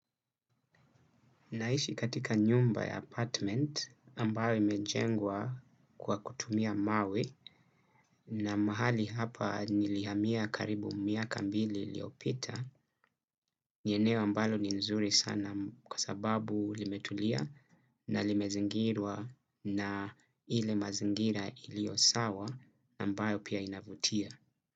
Naishi katika nyumba ya apartment ambayo imejengwa kwa kutumia mawe na mahali hapa nilihamia karibu miaka mbili iliyopita. Ni eneo ambalo ni nzuri sana kwa sababu limetulia na limezingirwa na ile mazingira iliyo sawa ambayo pia inavutia.